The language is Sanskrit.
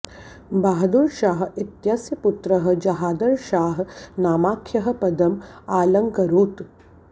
बहादुर शाह इत्यस्य पुत्रः जहादर शाह नामाख्यः पदम् आलङ्करोत्